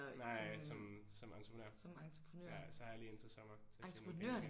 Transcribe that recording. Nej som som entreprenør ja så har jeg lige indtil sommer til at få nogle ind